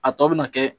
A tɔ bɛ na kɛ